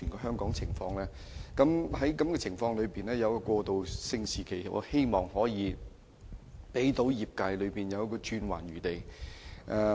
在這情況下，我希望政府可訂立一個過渡期，讓業界有轉圜餘地。